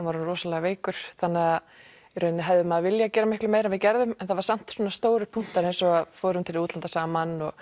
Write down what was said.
var orðinn rosalega veikur þannig að í rauninni hefði maður viljað gera miklu meira en við gerðum en það var samt svona stórir punktar eins og fórum til útlanda saman